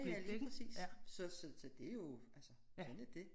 Ja ja lige præcis så så så det jo altså sådan dét